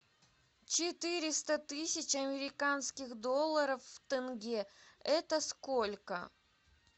четыреста тысяч американских долларов в тенге это сколько